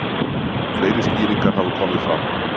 Fleiri skýringar hafa komið fram.